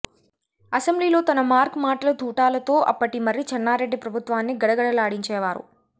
అసెంబ్లీలో తన మార్క్ మాటల తూటాలతో అప్పటి మర్రి చెన్నారెడ్డి ప్రభుత్వాన్ని గడగడలాడించేవారు